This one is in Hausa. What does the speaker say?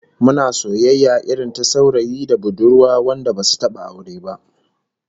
Muna soyayya irin ta saurayi da budurwa wanda basu taba aure ba